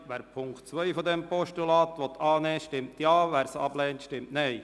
Wer Punkt 2 dieses Postulats annehmen will, stimmt Ja, wer dies ablehnt, stimmt Nein.